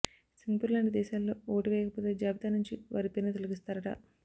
Singapore లాంటి దేశాల్లో ఓటువేయకపోతే జాబితా నుంచి వారి పేరును తొలగిస్తారట